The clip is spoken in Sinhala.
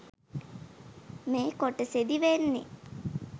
මේ කොටසෙදි වෙන්නේ